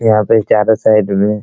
यहां पे चारों साइड में --